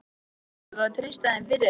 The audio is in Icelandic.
Svo þú verður að treysta þeim fyrir. þér.